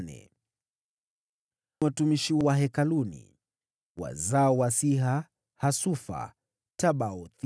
Watumishi wa Hekalu: wazao wa Siha, Hasufa, Tabaothi,